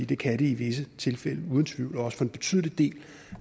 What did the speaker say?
det kan det i visse tilfælde uden tvivl også for en betydelig del